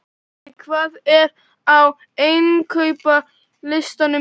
Óla, hvað er á innkaupalistanum mínum?